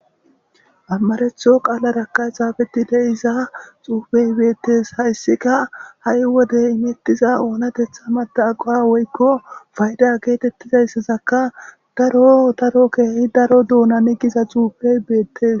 ammaretho qaalarakka xaafetile iza xuufey beettes hayssika ha7i wodey imettiza oonatetha mata aqowa woykko fayda geetettizayssazaka daro daro keehi daro duunani giza xuupey beettes